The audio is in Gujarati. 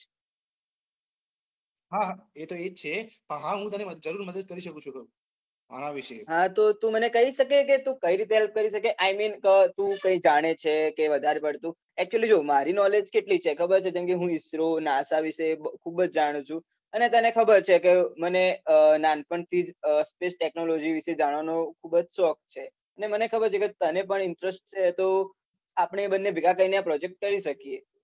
અને તને ખબર છે કે મને નાનપણથી જ ટેક્નોલોજી વિશે જાણવાનો ખુબ જ શોખ છે. ને મને ખબર છે કે તને પણ ઈન્ટરેસ્ટ છે. તો આપણે બંને ભેગા કરીને આ પ્રોજેક્ટ કરી શકીએ.